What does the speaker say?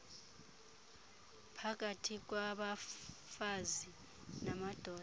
phakathi kwabafazi namadoda